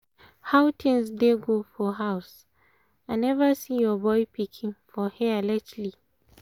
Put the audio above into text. how things dey go for house? um i never see your boy pikin for here lately